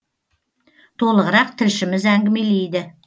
толығырақ тілшіміз әңгімелейді